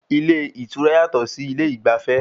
Ilé ìtura yàtọ̀ sí ilé ìgbafẹ́